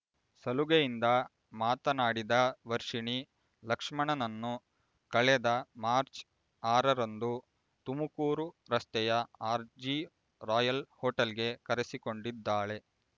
ಸಲುಗೆಯಿಂದ ಮಾತನಾಡಿದ ವರ್ಷಿಣಿ ಲಕ್ಷ್ಮಣನನ್ನು ಕಳೆದ ಮಾರ್ಚ್ ಆರರಂದು ತುಮಕೂರು ರಸ್ತೆಯ ಆರ್ಜಿ ರಾಯಲ್ ಹೊಟೇಲ್‌ಗೆ ಕರೆಸಿಕೊಂಡಿದ್ದಾಳೆ